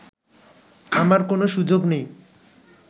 আমার কোনো সুযোগ নেই